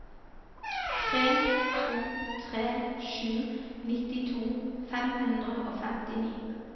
tre to tre sju nittito fem hundre og femtini